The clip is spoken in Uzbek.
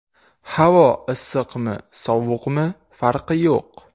Havo issiqmi, sovuqmi farqi yo‘q.